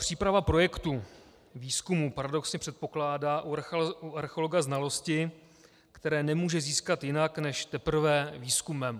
Příprava projektu výzkumu paradoxně předpokládá u archeologa znalosti, které nemůže získat jinak než teprve výzkumem.